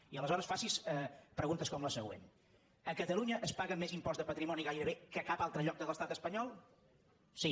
i aleshores faci’s preguntes com la següent a catalunya es paga més impost de patrimoni gairebé que a cap altre lloc de l’estat espanyol sí